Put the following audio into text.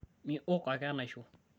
miok ake enaisho